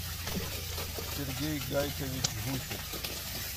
сергей гайкович гусев